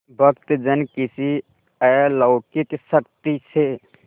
भक्तजन किसी अलौकिक शक्ति से